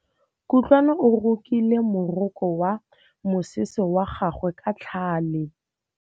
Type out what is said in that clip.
Kutlwanô o rokile morokô wa mosese wa gagwe ka tlhale.